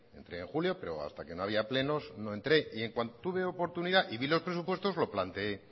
entré en julio pero hasta que no había plenos no entré y en cuanto tuve oportunidad y vi los presupuestos lo planteé